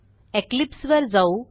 Eclipse वर जाऊ